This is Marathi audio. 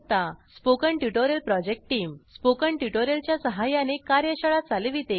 spoken tutorial project team spoken tutorial च्या सहाय्याने कार्यशाळा चालविते